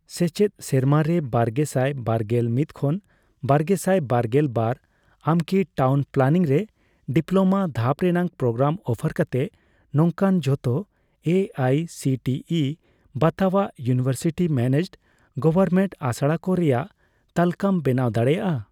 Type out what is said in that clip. ᱥᱮᱪᱮᱫ ᱥᱮᱨᱢᱟᱨᱮ ᱵᱟᱨᱜᱮᱥᱟᱭ ᱵᱟᱨᱜᱮᱞ ᱢᱤᱛ ᱠᱷᱚᱱ ᱵᱟᱨᱜᱮᱥᱟᱭ ᱵᱟᱨᱜᱮᱞ ᱵᱟᱨ ᱟᱢᱠᱤ ᱴᱟᱣᱩᱱ ᱯᱞᱟᱱᱤᱝ ᱨᱮ ᱰᱤᱯᱞᱳᱢᱟ ᱫᱷᱟᱯ ᱨᱮᱱᱟᱜ ᱯᱨᱳᱜᱨᱟᱢ ᱚᱯᱷᱟᱨ ᱠᱟᱛᱮ ᱱᱚᱝᱠᱟᱱ ᱡᱷᱚᱛᱚ A I C T E ᱵᱟᱛᱟᱣᱟᱜ ᱤᱭᱩᱱᱤᱶᱮᱨᱥᱤᱴᱤ ᱢᱮᱱᱮᱡᱰᱼᱜᱚᱣᱚᱨᱢᱮᱱᱴ ᱟᱥᱲᱟᱠᱚ ᱨᱮᱭᱟᱜ ᱛᱟᱞᱠᱟᱹᱢ ᱵᱮᱱᱟᱣ ᱫᱟᱲᱮᱭᱟᱜᱼᱟ ?